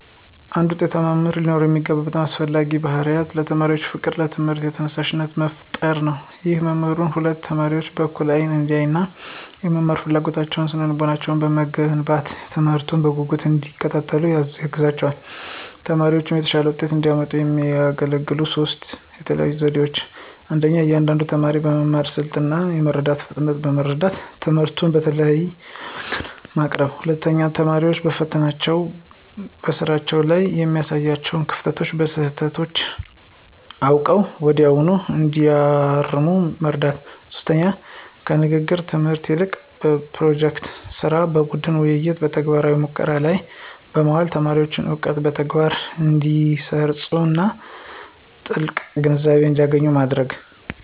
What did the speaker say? አንድ ውጤታማ መምህር ሊኖረው የሚገባው በጣም አስፈላጊው ባሕርይ ለተማሪዎች ፍቅርና ለትምህርቱ ተነሳሽነት መፍጠር ነው። ይህ መምህሩ ሁሉንም ተማሪዎች በእኩል አይን እንዲያይና፣ የመማር ፍላጎታቸውንና ስነ-ልቦናቸውን በመገንባት፣ ትምህርቱን በጉጉት እንዲከታተሉ ያግዛቸዋል። ተማሪዎችም የተሻለ ውጤት እንዲያመጡ የሚያገለግሉ ሦስት የተለዩ ዘዴዎች 1. የእያንዳንዱን ተማሪ የመማር ስልት እና የመረዳት ፍጥነት በመረዳት፣ ትምህርቱን በተለያየ መንገድ ማቅረብ። 2. ተማሪዎች በፈተናዎችና በስራዎች ላይ የሚያሳዩዋቸውን ክፍተቶችና ስህተቶች አውቀው ወዲያውኑ እንዲያርሙ መርዳት። 3. ከንግግር ትምህርት ይልቅ በፕሮጀክት ሥራ፣ በቡድን ውይይትና በተግባራዊ ሙከራዎች ላይ በማዋል ተማሪዎች እውቀትን በተግባር እንዲያሰርፁና ጥልቅ ግንዛቤ እንዲያገኙ ማድረግ።